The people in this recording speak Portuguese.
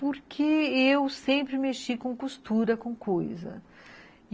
Porque eu sempre mexi com costura, com coisa.